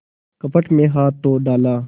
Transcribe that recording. कपट में हाथ तो डाला